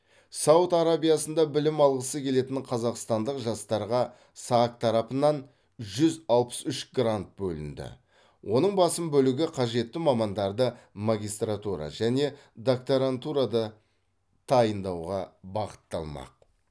сауд арабиясында білім алғысы келетін қазақстандық жастарға сак тарапынан жүз алпыс үш грант бөлінді оның басым бөлігі қажетті мамандарды магистратура және докторантурада дайындауға бағытталмақ